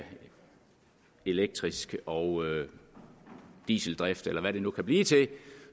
elektrisk og dieseldrift eller hvad det nu kan blive til